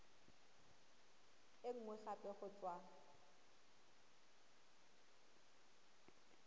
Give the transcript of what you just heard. e nngwe gape go tswa